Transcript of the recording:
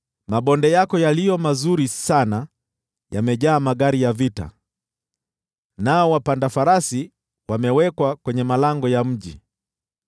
Mabonde yako yaliyo mazuri sana yamejaa magari ya vita, nao wapanda farasi wamewekwa kwenye malango ya mji;